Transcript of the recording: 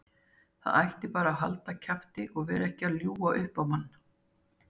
Það ætti bara að halda kjafti og vera ekki að ljúga upp á mann.